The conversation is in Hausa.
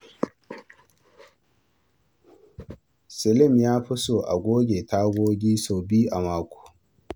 Salim ya fi so a goge tagogi sau biyu a mako.